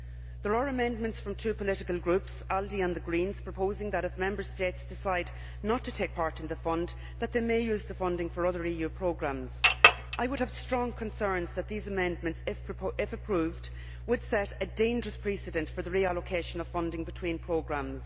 There are amendments from two political groups ALDE and the Greens proposing that, if Member States decide not to take part in the Fund, they may use the funding for other EU programmes. I would have strong concerns that these amendments, if approved, would set a dangerous precedent for the reallocation of funding between programmes.